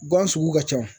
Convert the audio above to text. Gan sugu ka ca